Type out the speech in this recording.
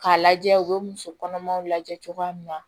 K'a lajɛ u bɛ muso kɔnɔmaw lajɛ cogoya min na